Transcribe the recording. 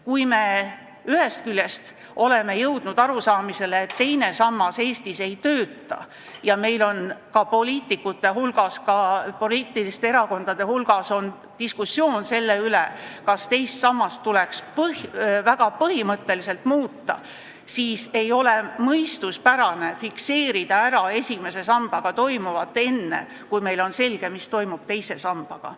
Kui me ühest küljest oleme jõudnud arusaamisele, et teine sammas Eestis ei tööta, ning poliitikute ja erakondade hulgas käib diskussioon selle üle, kas teist sammast tuleks põhimõtteliselt muuta, siis ei ole mõistuspärane fikseerida esimese sambaga toimuv ära enne, kui on selge, mis toimub teise sambaga.